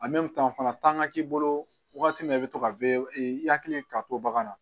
fana tan ka k'i bolo wagati min i bɛ to ka i hakili ka to bagan na